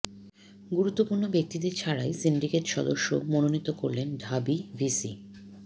গুরুত্বপূর্ণ ব্যক্তিদের ছাড়াই সিন্ডিকেট সদস্য মনোনীত করলেন ঢাবি ভিসি